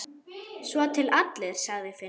Svo til allir, sagði Finnur.